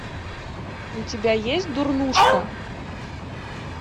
у тебя есть дурнушка